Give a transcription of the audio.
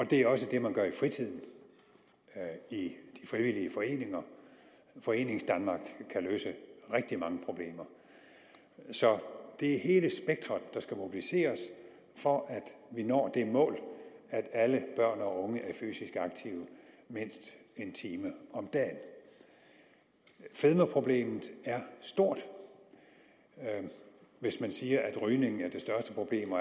det er også det man gør i fritiden i frivillige foreninger foreningsdanmark kan løse rigtig mange problemer så det er hele spektret der skal mobiliseres for at vi når det mål at alle børn og unge er fysisk aktive mindst en time om dagen fedmeproblemet er stort hvis man siger at rygning er det største problem og